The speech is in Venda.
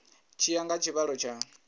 tshi ya nga tshivhalo tsha